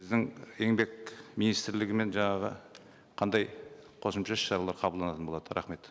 біздің еңбек министрлігімен жаңағы қандай қосымша іс шаралар қабылданатын болады рахмет